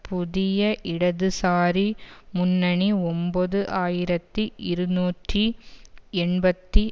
புதிய இடதுசாரி முன்னணி ஒன்பது ஆயிரத்தி இருநூற்றி எண்பத்தி